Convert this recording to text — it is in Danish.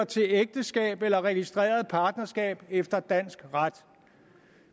til ægteskab eller registreret partnerskab efter dansk ret